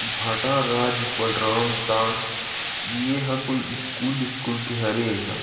महंत राजा बलराम दास ये ह कोई स्कूल विस्कुल के हरे ये हा--